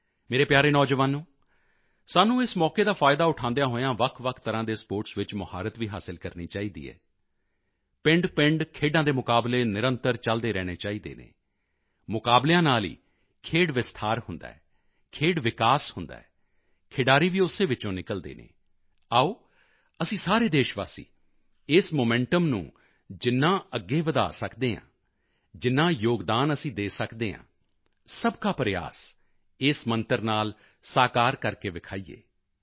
ਮੇਰੇ ਪਿਆਰੇ ਨੌਜਵਾਨੋਂ ਸਾਨੂੰ ਇਸ ਮੌਕੇ ਦਾ ਫਾਇਦਾ ਉਠਾਉਂਦਿਆਂ ਹੋਇਆਂ ਵੱਖਵੱਖ ਤਰ੍ਹਾਂ ਦੇ ਸਪੋਰਟਸ ਵਿੱਚ ਮੁਹਾਰਤ ਵੀ ਹਾਸਲ ਕਰਨੀ ਚਾਹੀਦੀ ਹੈ ਪਿੰਡਪਿੰਡ ਖੇਡਾਂ ਦੇ ਮੁਕਾਬਲੇ ਨਿਰੰਤਰ ਚਲਦੇ ਰਹਿਣੇ ਚਾਹੀਦੇ ਹਨ ਮੁਕਾਬਲਿਆਂ ਨਾਲ ਹੀ ਖੇਡ ਵਿਸਤਾਰ ਹੁੰਦਾ ਹੈ ਖੇਡ ਵਿਕਾਸ ਹੁੰਦਾ ਹੈ ਖਿਡਾਰੀ ਵੀ ਉਸੇ ਵਿੱਚੋਂ ਨਿਕਲਦੇ ਹਨ ਆਓ ਅਸੀਂ ਸਾਰੇ ਦੇਸ਼ਵਾਸੀ ਇਸ ਮੋਮੈਂਟਮ ਨੂੰ ਜਿੰਨਾ ਅੱਗੇ ਵਧਾ ਸਕਦੇ ਹਾਂ ਜਿੰਨਾ ਯੋਗਦਾਨ ਅਸੀਂ ਦੇ ਸਕਦੇ ਹਾਂ ਸਬਕਾ ਪ੍ਰਯਾਸ ਇਸ ਮੰਤਰ ਨਾਲ ਸਾਕਾਰ ਕਰਕੇ ਵਿਖਾਈਏ